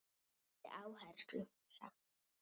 Með mikilli áherslu sagt.